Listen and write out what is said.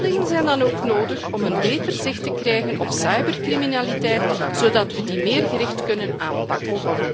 Meldingen zijn dan ook nodig om beter zicht te krijgen op cybercriminaliteit, zodat we die gerichter kunnen aanpakken.